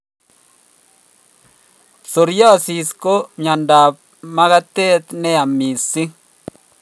Psoriasis ko myondo ab magatet neya missing